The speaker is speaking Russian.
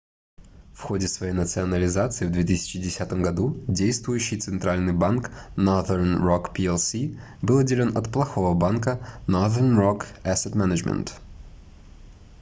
в ходе своей национализации в 2010 году действующий центральный банк northern rock plc был отделён от плохого банка northern rock asset management